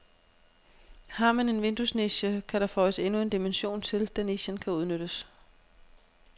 Har man en vinduesniche, kan der føjes endnu en dimension til, da nichen kan udnyttes.